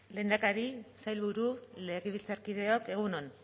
lehendakari sailburu legebiltzarkideok egun on